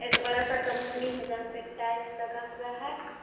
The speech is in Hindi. एक बड़ा सा कंपनी है जहां पे टाइल्स लगा हुआ है।